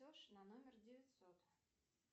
на номер девятьсот